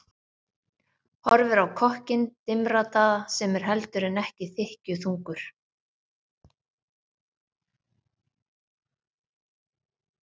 Horfir á kokkinn dimmraddaða sem er heldur en ekki þykkjuþungur.